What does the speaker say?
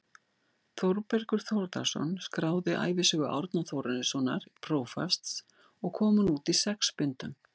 Þórbergur Þórðarson skráði ævisögu Árna Þórarinssonar prófasts og kom hún út í sex bindum.